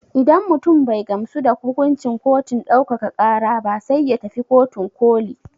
Idan mutum bai gamsu da hukuncin kotun ɗaukaka ƙara ba sai ya tafi kotun ƙoli.